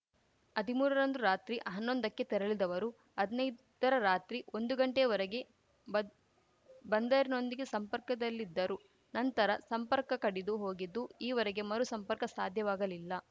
ಹದಿಮೂರ ರಂದು ರಾತ್ರಿ ಹನ್ನೊಂದ ಕ್ಕೆ ತೆರಳಿದವರು ಹದ್ನೈದರ ರಾತ್ರಿ ಒಂದು ಗಂಟೆಯವರೆಗೆ ಬಂದ್ ಬಂದರಿನೊಂದಿಗೆ ಸಂಪರ್ಕದಲ್ಲಿದ್ದರು ನಂತರ ಸಂಪರ್ಕ ಕಡಿದು ಹೋಗಿದ್ದು ಈವರೆಗೆ ಮರು ಸಂಪರ್ಕ ಸಾಧ್ಯವಾಗಲಿಲ್ಲ